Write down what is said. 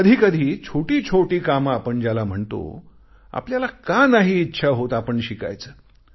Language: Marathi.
कधी कधी छोटी छोटी कामे ज्याला आपण म्हणतो आपल्याला का नाही इच्छा होत आपण शिकायचे